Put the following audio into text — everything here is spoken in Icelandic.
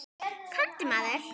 Komdu, maður.